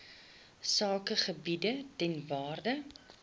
sakegebiede ter waarde